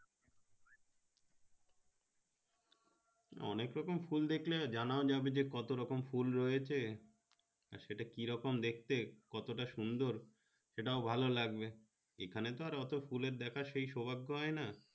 অনেক রকমের ফুল ডাকলে জানাও যাবে যে কত রকম ফুল রয়েছে সেটা কি রকম দেখতে কত তা সুন্দর সেটাও ভালো লাগবে এখানে তো এত ফুল দেখলে সেই সৌভাগ্য হয় না।